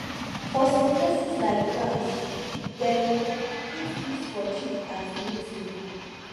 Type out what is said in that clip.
for some places like france dem fit kiss for cheek as greeting